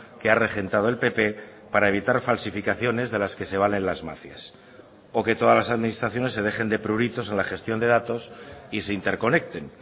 que ha regentado el pp para evitar falsificaciones de las que se valen las mafias o que todas las administraciones se dejen de pruritos en la gestión de datos y se interconecten